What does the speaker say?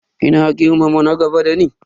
Ina girmama na gaba da ni.